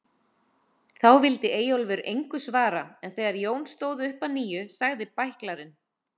Þá vildi Eyjólfur engu svara en þegar Jón stóð upp að nýju sagði bæklarinn